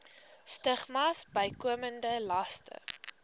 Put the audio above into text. stigmas bykomende laste